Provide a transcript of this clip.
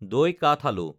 দৈ কাঠআলু